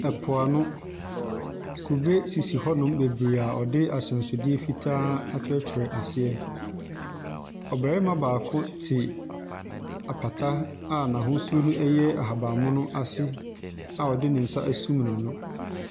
Ɛpo ano, kube sisi hɔ nom bebree ɔde ahyɛnsodeɛ fitaa atwerɛ twerɛ aseɛ. Ɔbɛrema baako te apata a n'ahosuo no ɛyɛ ahabammono ase a ɔde ne nsa asum n'ano.